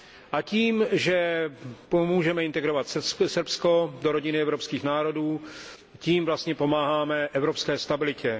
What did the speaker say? A tím, že pomůžeme integrovat Srbsko do rodiny evropských národů, tím vlastně pomáháme evropské stabilitě.